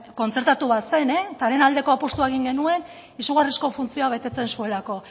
kontzertatu bat zen eta haren aldeko apustua egin genuen izugarrizko funtzioa betetzen zuelako